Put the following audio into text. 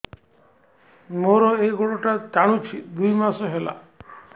ମୋର ଏଇ ଗୋଡ଼ଟା ଟାଣୁଛି ଦୁଇ ମାସ ହେଲା